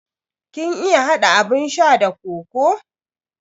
Kin iya hada abun sha da kokoo?